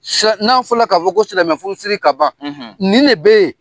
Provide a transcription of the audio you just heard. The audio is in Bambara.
Sar n'a fɔla ka fɔ ko silamɛ furusiri ka ban nin ne be ye.